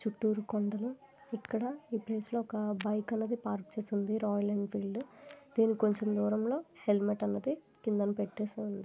చిత్తూరు కొండ ఎక్కడ ఈ ప్లేస్ లో ఒక అబ్బాయి కలది పార్క్ చేసింది రాయల్ ఎన్ఫీల్డ్ దీనికి కొంచెం దూరంలో హెల్మెట్ అన్నది కింద పెట్టెసి ఉంది.